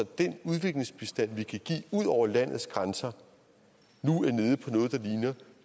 den udviklingsbistand vi kan give ud over landets grænser nu er nede på